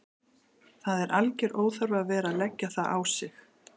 Það er alger óþarfi að vera að leggja það á sig.